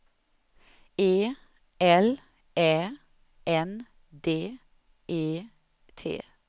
E L Ä N D E T